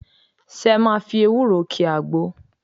Ṣé ẹ máa fi ewúro ki àgbo?